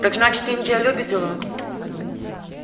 так значит индия любит его